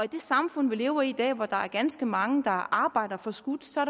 det samfund vi lever i i dag hvor der er ganske mange der arbejder forskudt så